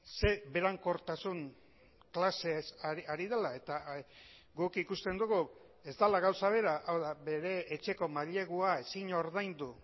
ze berankortasun klasez ari dela eta guk ikusten dugu ez dela gauza bera hau da bere etxeko mailegua ezin ordaindu